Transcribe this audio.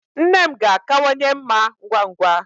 Nne m ga-akawanye mma ngwa ngwa